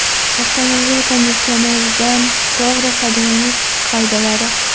Avtomobil konditsioneridan to‘g‘ri foydalanish qoidalari.